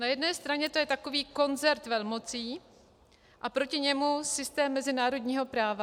Na jedné straně to je takový koncert velmocí a proti němu systém mezinárodního práva.